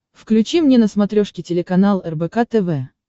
включи мне на смотрешке телеканал рбк тв